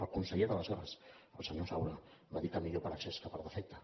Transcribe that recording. el conseller d’aleshores el senyor saura va dir que millor per excés que per defecte